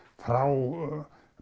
frá